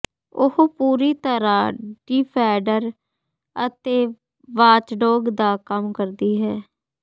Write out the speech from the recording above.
ਉਹ ਪੂਰੀ ਤਰ੍ਹਾਂ ਡਿਫੈਂਡਰ ਅਤੇ ਵਾਚਡੌਗ ਦਾ ਕੰਮ ਕਰਦੀ ਹੈ